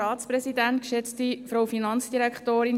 Das Wort hat Grossrätin Gygax, BDP.